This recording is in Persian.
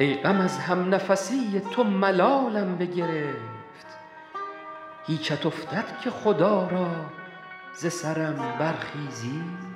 ای غم از همنفسی تو ملالم بگرفت هیچت افتد که خدا را ز سرم برخیزی